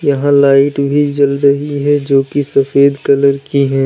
यहां लाइट भी जल रही है जो कि सफेद कलर की है।